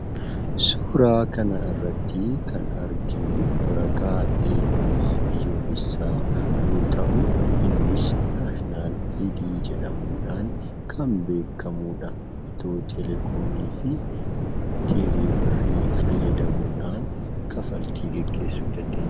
Suuraa kanarratti kan arginu waraqaa eenyummaa biyyoolessaa yoo ta'u, kunis 'National ID' jedhamuudhaan kan beekamudha. Itiyoo telekoomii fi teeleebirrii fayyadamuudhaan kaffaltii gaggeessuu dandeenya.